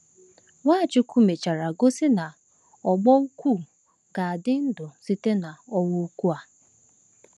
Nwachukwu mechara gosi na ọ̀gbọ́ ukwu ga-adị ndụ site n’“ọnwụ ukwu” a.